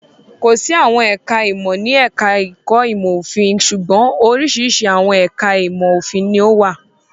Kò sí àwọn ẹ̀ka-ìmọ̀ ní ẹ̀ka-ẹ̀kọ́ ìmọ̀-òfin. Ṣùgbọ́n, oríṣiríṣi àwọn ẹ̀ka ìmọ̀-òfin ni ó wà.